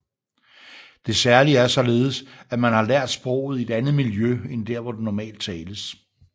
Det særlige er således at man har lært sproget i et andet miljø end hvor det normalt tales